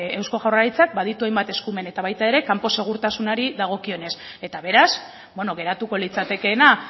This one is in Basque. eusko jaurlaritzak baditu hainbat eskumen eta baita ere kanpo segurtasunari dagokionez eta beraz geratuko litzatekeena